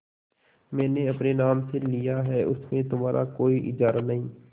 मैंने अपने नाम से लिया है उसमें तुम्हारा कोई इजारा नहीं